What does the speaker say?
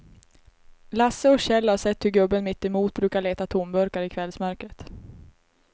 Lasse och Kjell har sett hur gubben mittemot brukar leta tomburkar i kvällsmörkret.